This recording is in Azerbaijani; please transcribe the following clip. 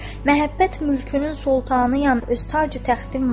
Məhəbbət mülkünün soltanıyam, öz tacü-təxtim var.